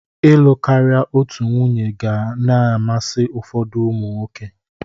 Ịlụ karị otu nwunye ga na-amasị ụfódụ ụmụ nwoke.